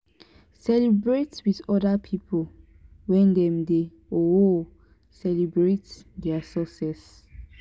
celebrate with oda pipo when dem dey um celebrate their success